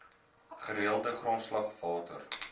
gereelde grondslag water